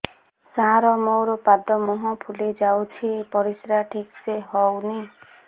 ସାର ମୋରୋ ପାଦ ମୁହଁ ଫୁଲିଯାଉଛି ପରିଶ୍ରା ଠିକ ସେ ହଉନି